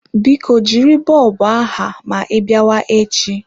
Biko jiri bọlbụ aha ma ị biawa echi.